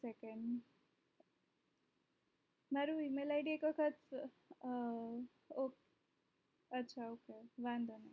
એક second મારી email id તો sir અ અચ્છા અચ્છા ok વાધો નહિ